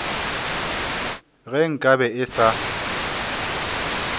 ge nka be e sa